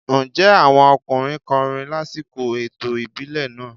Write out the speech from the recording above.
Ǹjẹ́ àwọn ọkùnrin kọrin lásìkò ètò ìbílẹ̀ náà?